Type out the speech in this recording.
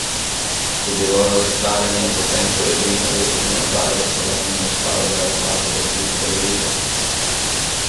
Je bilo razočaranje, potem ko je edina jutranja oddaja v Sloveniji ostala brez zlatega kipca, veliko?